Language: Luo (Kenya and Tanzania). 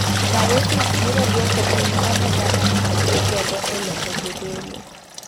Diosis biro duoko piny omenda ma gi tiyo godo e loko jodolo.